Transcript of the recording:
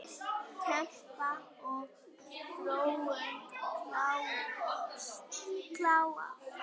Kempa og Þróun kljást.